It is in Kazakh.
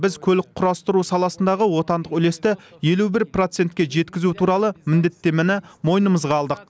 біз көлік құрастыру саласындағы отандық үлесті елу бір процентке жеткізу туралы міндеттемені мойнымызға алдық